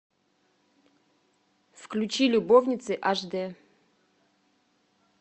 включи любовницы аш д